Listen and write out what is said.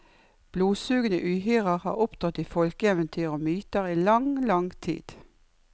Blodsugende uhyrer har opptrådt i folkeeventyr og myter i lang, lang tid.